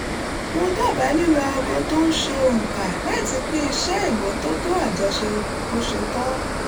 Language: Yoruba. mo dábàá lílo aago tó ń ṣe ònkà láti pín iṣẹ́ ìmọ́tótó àjọṣe bó ṣe tọ́